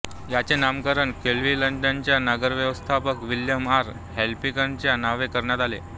याचे नामकरण क्लीव्हलंडच्या नगरव्यवस्थापक विल्यम आर हॉपकिन्सच्या नावे करण्यात आले